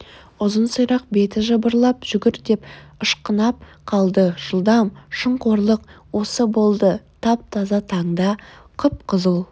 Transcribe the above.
ұзын сирақ беті жыбырлап жүгір деп ышқынып қалды жылдам шын қорлық осы болды тап-таза таңда қып-қызыл